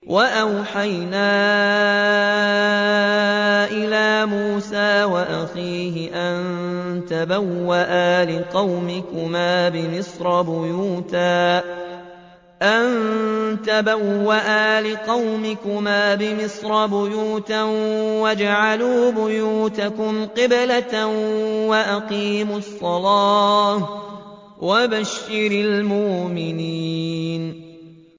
وَأَوْحَيْنَا إِلَىٰ مُوسَىٰ وَأَخِيهِ أَن تَبَوَّآ لِقَوْمِكُمَا بِمِصْرَ بُيُوتًا وَاجْعَلُوا بُيُوتَكُمْ قِبْلَةً وَأَقِيمُوا الصَّلَاةَ ۗ وَبَشِّرِ الْمُؤْمِنِينَ